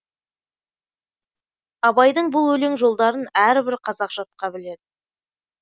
абайдың бұл өлең жолдарын әрбір қазақ жатқа біледі